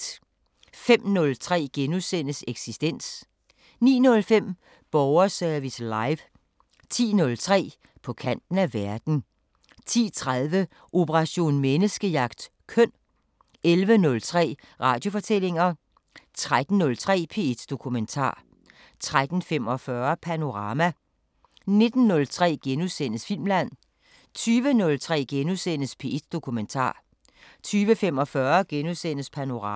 05:03: Eksistens * 09:05: Borgerservice Live 10:03: På kanten af verden 10:30: Operation Menneskejagt: Køn 11:03: Radiofortællinger 13:03: P1 Dokumentar 13:45: Panorama 19:03: Filmland * 20:03: P1 Dokumentar * 20:45: Panorama *